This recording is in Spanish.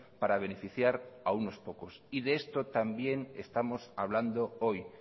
para beneficiar a unos pocos y de esto también estamos hablando hoy